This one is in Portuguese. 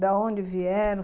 Da onde vieram?